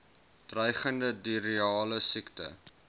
dreigende diarreale siekte